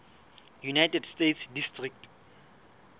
united states district